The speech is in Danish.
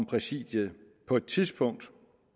præsidiet på et tidspunkt